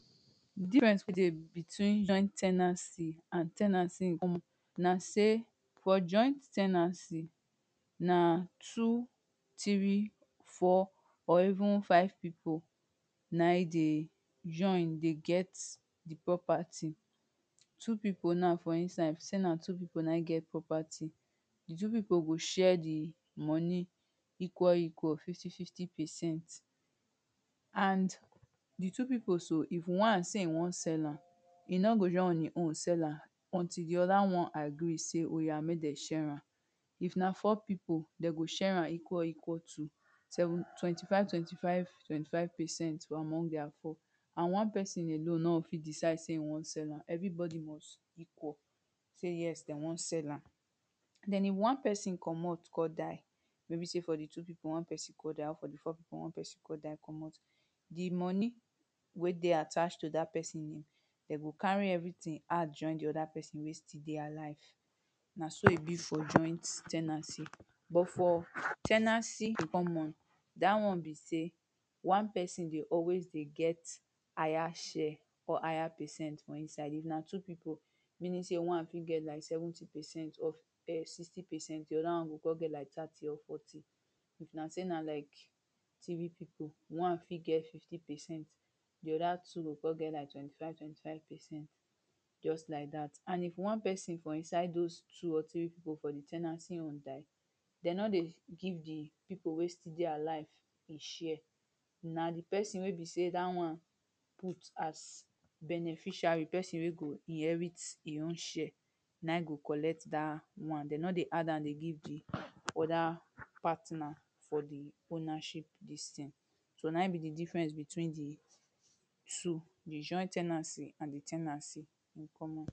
Difference dey between joint ten ancy and ten ancy in common na sey, for joint ten ancy na two three, four or even five people na e dey join dey get the property. Two people na for inside say na two people na im get property. The people go share the money equal equal, fifty fifty percent. And the two people so, if one say e wan sell am, e no go just on e own sell am. until the other one agree say oya make dem share am. If na four people, dem go share am equal equal two. Twenty five twenty five twenty five percent among their four. And one person alone no go fit decide say e wan sell am. Everybody must equal. Say yes na dey wan sell am. Den if one person comot con die, wey be sey for the two people, one person con die or for the four people one person con die comot. The money wey dey attached to dat person name. They go carry everything add join the other person wey still dey alive. Na so e be for joint ten ancy but for ten ancy in common dat one be sey one person dey always dey get higher share or higher percent for inside. If na two people meaning sey one fit get like seventy percent of sixty percent. De other one go con dey like thirty or forty. If na sey na like three people, one fit get like fifty percent the other two go first get like twenty five twenty five percent just like dat and if one person for inside dos two or three people for the ten ancy own die, de no dey give the people wey still dey alive e share. Na the person wey be say dat one put as beneficiary. Person wey go inherit e own share. Na im go collect dat one. De no dey add am dey give the other partner for the ownership dis thing. So na im be the difference between the two. The joint ten ancy and the ten ancy in common.